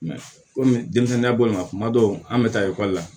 komi denmisɛnninya bɔlen don kuma dɔw an bɛ taa ekɔli la